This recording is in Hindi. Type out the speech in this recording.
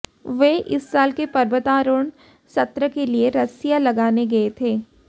वे इस साल के पर्वतारोहण सत्र के लिए रस्सियां लगाने गए थे